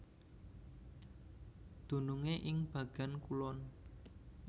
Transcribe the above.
Dunungé ing bagéan kulon